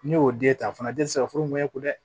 Ne y'o den ta fana den tɛ se ka furu ɲɛ ko dɛ